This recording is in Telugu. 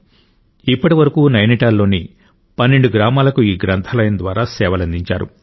ఇప్పటి వరకు నైనిటాల్లోని 12 గ్రామాలకు ఈ గ్రంథాలయం ద్వారా సేవలందించారు